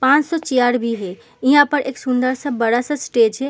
पांच सौ चियार भी हैं। इहा पर एक सुन्दर सा बड़ा सा स्टेज है।